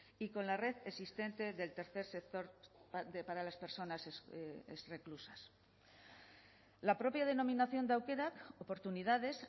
y con la red existente del tercer sector para las personas reclusas la propia denominación de aukerak oportunidades